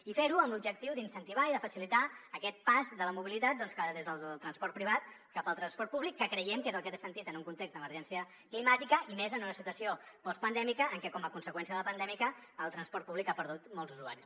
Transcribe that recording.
i fer ho amb l’objectiu d’incentivar i de facilitar aquest pas de la mobilitat des del transport privat cap al transport públic que creiem que és el que té sentit en un context d’emergència climàtica i més en una situació postpandèmica en què com a conseqüència de la pandèmia el transport públic ha perdut molts usuaris